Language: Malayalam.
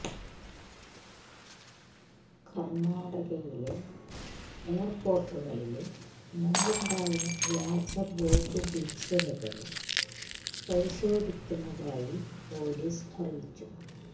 കര്ണാടകയിലെ എയര്പോര്ട്ടുകളില് മുമ്പുണ്ടായ വ്യാജ ബോംബ് ഭീഷണികളും പരിശോധിക്കുന്നതായി പോലീസ് അറിയിച്ചു